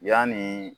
Yanni